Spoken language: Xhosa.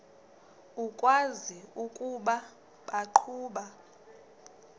ukwazi ukuba baqhuba